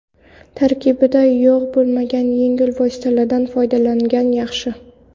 Tarkibida yog‘ bo‘lmagan yengil vositalardan foydalangan yaxshi.